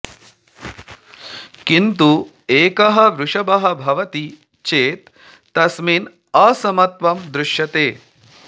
किन्तु एकः वृषभः भवति चेत् तस्मिन् असमत्वं दृश्यते